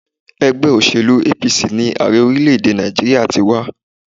Ègbé òṣèlú APC ni Ààrẹ orílé èdè Nàìjíríà ti wá